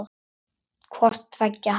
Hvort tveggja hafi aukist.